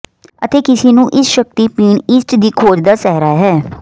ਅਤੇ ਕਿਸੇ ਨੂੰ ਇਸ ਸ਼ਕਤੀ ਪੀਣ ਈਸਟ ਦੀ ਖੋਜ ਦਾ ਸਿਹਰਾ ਹੈ